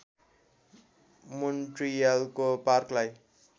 मोन्ट्रियलको पार्कलाई